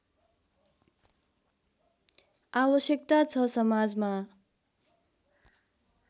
आवश्यकता छ समाजमा